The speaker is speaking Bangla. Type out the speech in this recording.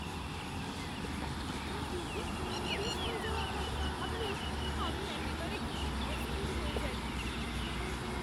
ইন্টারভিউতে খারিজ হয়ে যাওয়ার কথা ভাবলেও আমি একেবারে ঘেমে অস্থির হয়ে যাই।